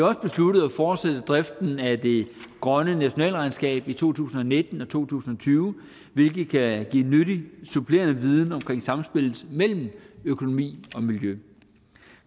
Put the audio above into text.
også besluttet at fortsætte driften af det grønne nationalregnskab i to tusind og nitten og to tusind og tyve hvilket kan give nyttig supplerende viden omkring samspillet mellem økonomi og miljø